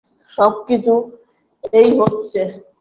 সবকিছু এই হচ্ছে